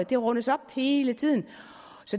det rundes op hele tiden